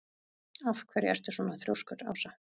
Af hverju ertu svona þrjóskur, Ása?